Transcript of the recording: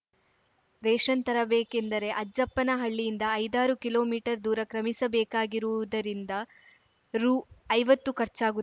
ration ತರಬೇಕೆಂದರೆ ಅಜ್ಜಪ್ಪನಹಳ್ಳಿಯಿಂದ ಐದಾರು ಕಿಲೋ ಮೀಟರ್ ದೂರ ಕ್ರಮಿಸ ಬೇಕಾಗಿರುವುದರಿಂದ ರುಐವತ್ತು ಖರ್ಚಾಗುತ್ತ